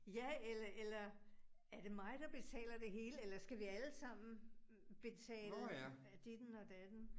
Ja eller eller er det mig, der betaler det hele, eller skal vi allesammen betale ditten og datten